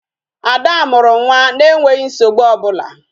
Ada mụrụ nwa na-enweghị nsogbu ọbụla